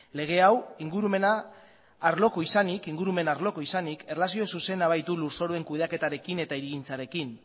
lege hau ingurumen arlokoa izanik erlazio zuzena baitu lurzoruen kudeaketarekin eta hirigintzarekin